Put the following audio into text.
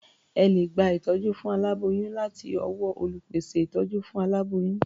Ẹ lè gba ìtọ́jú fún aláboyún láti ọwọ́ olùpèsè ìtọ́jú fún aláboyún.